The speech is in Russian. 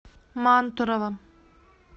мантурово